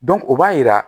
o b'a yira